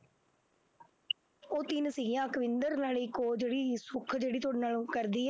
ਉਹ ਤਿੰਨ ਸੀਗੀਆਂ ਅਕਵਿੰਦਰ ਨਾਲ ਇੱਕ ਉਹ ਜਿਹੜੀ ਸੁੱਖ ਜਿਹੜੀ ਤੁਹਾਡੇ ਨਾਲ ਉਹ ਕਰਦੀ ਹੈ।